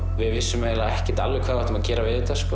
við vissum eiginlega ekkert alveg hvað við áttum að gera